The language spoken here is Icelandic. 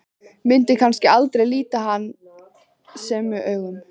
Myndi kannski aldrei líta hann sömu augum.